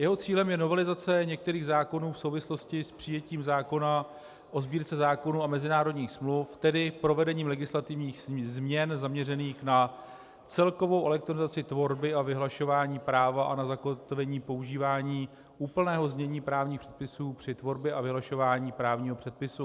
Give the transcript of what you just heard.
Jeho cílem je novelizace některých zákonů v souvislosti s přijetím zákona o Sbírce zákonů a mezinárodních smluv, tedy provedením legislativních změn zaměřených na celkovou elektronizaci tvorby a vyhlašování práva a na zakotvení používání úplného znění právních předpisů při tvorbě a vyhlašování právního předpisu.